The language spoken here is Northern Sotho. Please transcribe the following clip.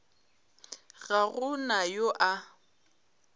ga go na yo a